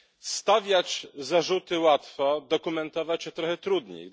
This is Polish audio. Stawiać zarzuty łatwo, dokumentować je trochę trudniej.